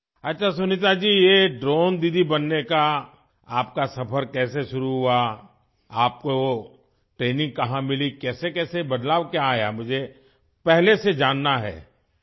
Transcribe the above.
اچھا سنیتا جی، آپ کا ڈرون دیدی بننے کا سفر کیسے شروع ہوا؟ آپ نے تربیت کہاں سے حاصل کی، کس قسم کی تبدیلیاں ہوئیں، میں پہلے یہ جاننا چاہتا ہوں